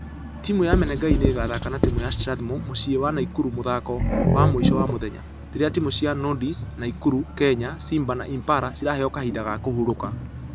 Timũ ya menengai nĩgathaka na timũ ya strathmore mũciĩ wa naikuru mũthako wamũisho wa mũthenya . Rĩrĩa timũ cia nondies, naikuru, kenya simba na impala ciraheo kahinda ga kũhurũka.